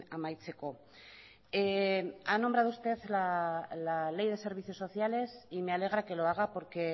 amaitzeko ha nombrado usted la ley de servicios sociales y me alegra que lo haga porque